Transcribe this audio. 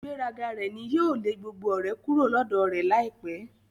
Ígbèraga rẹ ní yóò lè gbogbo ọ̀rẹ́ kúrò lọ́dọ̀ rẹ láìpẹ́.